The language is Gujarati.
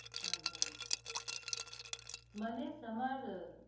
આ હા મને તમાર